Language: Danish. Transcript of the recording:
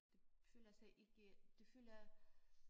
De føler sig ikke de føler